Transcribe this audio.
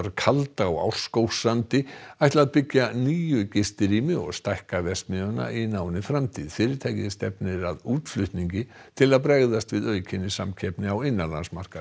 kalda á Árskógssandi ætla að byggja níu gistirými og stækka verksmiðjuna í náinni framtíð fyrirtækið stefnir að útflutningi til að bregðast við aukinni samkeppni á innanlandsmarkaði